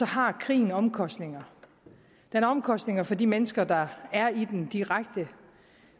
har krigen omkostninger den har omkostninger for de mennesker der er i den direkte